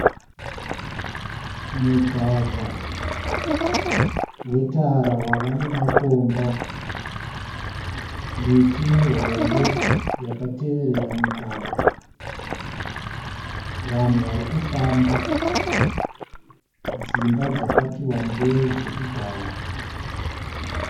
Mugwagwa wetara wave namakomba. Miti mihombe yakateverera mugwagwa. Vanhu vari kufamba. Dzimba dzakati wandei dzekugara.